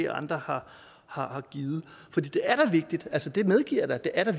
andre har har givet for det er da vigtigt det medgiver jeg da at